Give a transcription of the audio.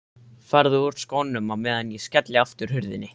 Farðu úr skónum á meðan ég skelli aftur hurðinni.